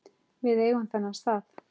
Við eigum þennan stað